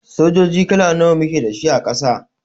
Sojoji kala nawa muke da shi a Ƙasa?